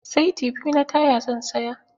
Saiti biyu na taya zan saya